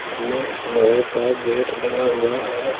इसमें लोहे का गेट लगा हुआ है।